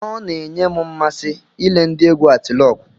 Ọ na-enye m mmasị ile ndị egwu Atilọgwụ.